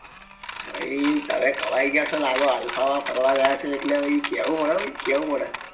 ભાઈ તમે કમાઈ ગયા લાગો છો alfa માં ફરવા જાઓ છે એટલે કેવું પડે હો ભાઈ કેવું પડે